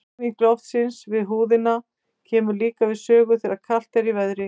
Hreyfing loftsins við húðina kemur líka við sögu þegar kalt er í veðri.